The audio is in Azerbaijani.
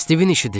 Stivin işidir,